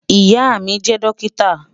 Ìyà mi jẹ dọ́kítà.